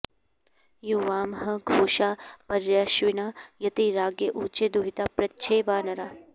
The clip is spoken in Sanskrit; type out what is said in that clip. यु॒वां ह॒ घोषा॒ पर्य॑श्विना य॒ती राज्ञ॑ ऊचे दुहि॒ता पृ॒च्छे वां॑ नरा